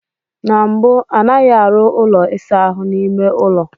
Na mbụ, anaghị arụ ụlọ ịsa ahụ n'ime ụlọ.